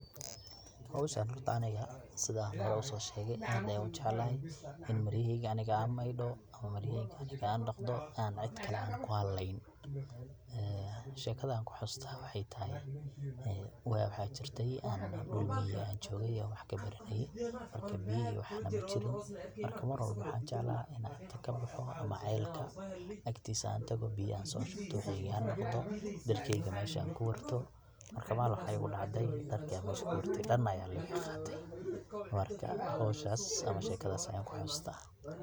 Howshan horta aniga sidan hor uso shegee aad ayan ujeclahay in an maryahey aniga an meydho ama maryaheyga aniga an dhaqdo an cid kale anku haleynin ee shekada anku xasuusto waxay tahay ee waa waxa jirte dhul miyi an jogay wax kabaranaye marka biya iyo waxa majirin marka mar walbo waxan jeclahay ina inta kabaxo ama celkaa agtiisa an tago biya an soo shubto maryaheyga an dhaqdo dharkeyga mesha an kuwarto, marka malin waxaa igu dhacday dharkii an mesha kuwartay dhamaan aya liga qaatay marka howshas ama shekadaas.